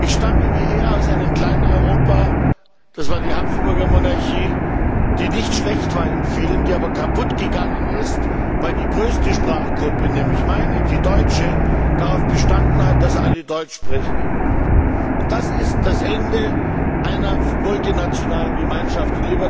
Ich stamme wie er aus einem Klein Europa, das war die Habsburger Monarchie, die nicht schlecht war in vielem, die aber kaputt gegangen ist, weil die größte Sprachgruppe nämlich meine, die deutsche immer wieder darauf bestanden hat, dass alle Deutsch sprechen. Und das ist das Ende einer multinationalen Gemeinschaft.